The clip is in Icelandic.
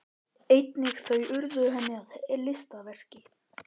Einnig þau urðu henni að listaverki.